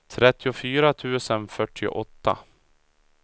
trettiofyra tusen fyrtioåtta